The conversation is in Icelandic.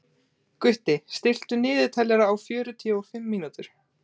Gutti, stilltu niðurteljara á fjörutíu og fimm mínútur.